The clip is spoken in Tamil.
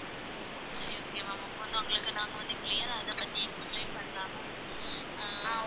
சரி okay ma'am இப்ப வந்து உங்களுக்கு நாங்க வந்து clear ஆ, அதைப் பத்தி explain பண்ணலாமா ஆஹ்